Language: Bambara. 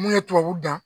Mun ye tubabu dan